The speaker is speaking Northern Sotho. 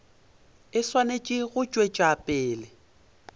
e swanetše go tšwetša pele